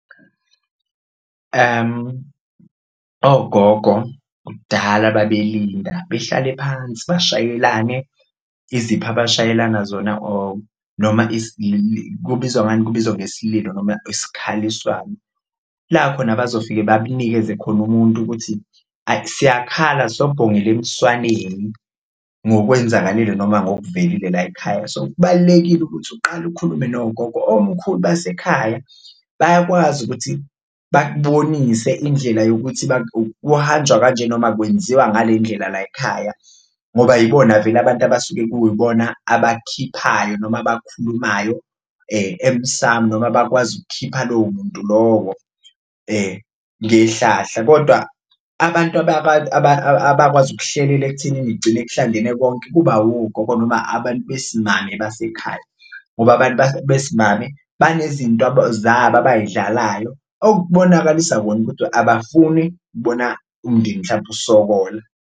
Ogogo kudala babelinda behlale phansi bashayelana izipho abashayelana zona or noma kubizwa ngani, kubizwa ngesililo noma isikhaliswano la khona abazofike bakunikeze khona umuntu ukuthi, ay siyakhala, sobhongela emswaneni ngokwenzakalele noma ngokuvelile layikhaya. So, kubalulekile ukuthi uqale ukhulume nogogo omkhulu basekhaya bayakwazi ukuthi bakubonise indlela yokuthi kuhanjwa kanje noma kwenziwa ngale ndlela layikhaya ngoba yibona vele abantu abasuke kuyibona abakukhiphayo noma abakhulumayo emsamu noma abakwazi ukukhipha lowo muntu lowo ngehlahla. Kodwa abantu abakwazi ukuhlelela ekuthenini kugcine kuhlangene konke kuba wogogo noma abantu besimame basekhaya, ngoba abantu besimame banezinto zabo abayidlalayo okubonakalisa kona ukuthi abafuni kubona umndeni mhlambe usokola.